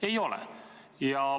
Ei ole.